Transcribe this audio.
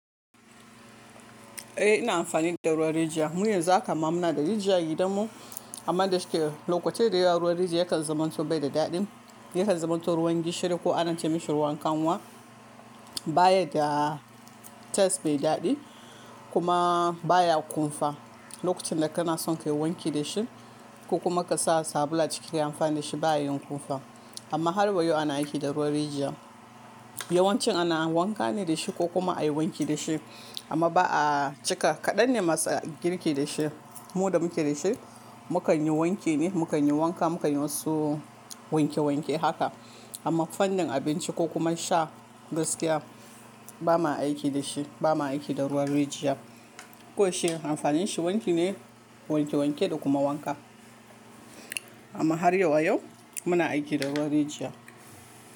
Eh ina amfani da ruwan rijiya. Munyi zakama muna da rijiya gidanmu amma dashi lokaci da ya ruwa rijiya yakan zamanto bai da daɗin. Yakan zamanto ruwan gishiri ko ana ce mashi ruwan kanwa. Bayan da taste mai daɗi kuma baya kumfa. Lokacin da kana son ka yi wanki da shi ko kuma ka sa sabulu a ciki ka yi amfani da shi baya yin kumfa amma har wa yau ana aiki da ruwan rijiya. Yawanci ana wanka ne da shi ko kuma a yi wanki da shi amma ba a cika. Kaɗan ne masu girki da shi. Mu da muke da shi mu kan yi wanki ne, mu kan yi wanka, mu kan yi wasu wanke wanke haka amma fannin abinci ko kuma sha gaskiya ba ma aiki da shi. Ba ma aiki da ruwan rijiya. Ko yaushe amfanin shi wanki ne, wanke wanke da kuma wanka amma har yau wa yau muna aiki da ruwan rijiya.